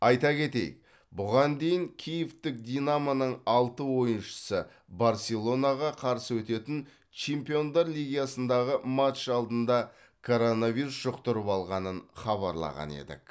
айта кетейік бұған дейін киевтік динамоның алты ойыншысы барселонаға қарсы өтетін чемпиондар лигасындағы матч алдында коронавирус жұқтырып алғанын хабарлаған едік